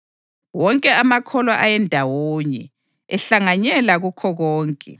Wonke amakholwa ayendawonye, ehlanganyela kukho konke.